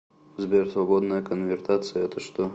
сбер свободная конвертация это что